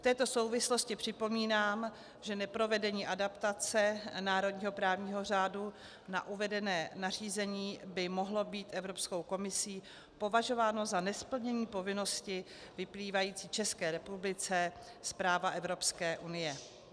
V této souvislosti připomínám, že neprovedení adaptace národního právního řádu na uvedené nařízení by mohlo být Evropskou komisí považováno za nesplnění povinnosti vyplývající České republice z práva Evropské unie.